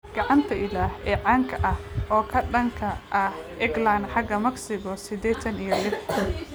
"Gacanta Ilaah" ee caanka ah oo ka dhanka ah England xaga Mexico sideedatan iyo lix.